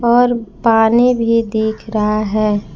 और पानी भी दिख रहा है।